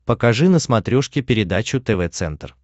покажи на смотрешке передачу тв центр